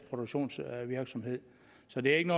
produktionsvirksomhed så det er ikke